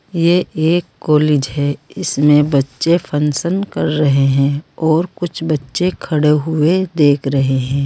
ये एक कॉलेज है इसमें बच्चे फंक्शन कर रहे हैं और कुछ बच्चे खड़े हुए देख रहे हैं।